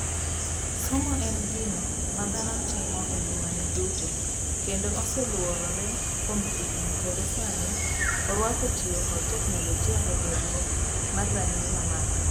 Somo en gino ma dhano timo engimane duto kendo osee luorre kuom higni kendo sani oruako tiyo kod teknologia e gerruok mar rang'iny mamalo.